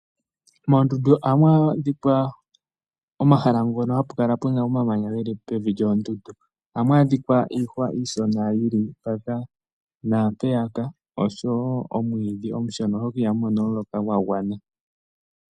Moondundu ohamu adhika omahala ngono hapu kala puna omamanya geli pevi lyoondundu. Ohamu adhika iihwa iishona yi li mpaka naampeyaka oshowo omwiidhi omushona oshoka ihamu mono omuloka gwa gwana.